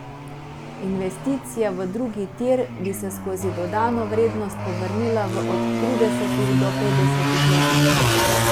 Investicija v drugi tir bi se skozi dodano vrednost povrnila v od tridesetih do petdesetih letih.